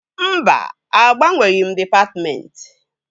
Mba, agbanweghị m dịpatmentị